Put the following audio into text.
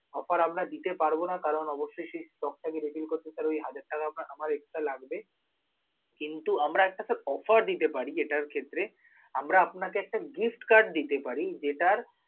offer আমরা দিতে পারব না. কারণ, অবশ্যই সেই stock টাকে refill করতে sir ওই হাজার টাকা আপ~ আমার extra লাগবে, কিন্তু আমরা একটা sir offer দিতে পারি এটার ক্ষেত্রে, আমরা আপনাকে একটা gift card দিতে পারি যেটার